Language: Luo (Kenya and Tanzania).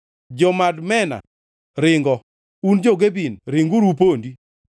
Jo-Madmena ringo; un jo-Gebim ringuru upondi.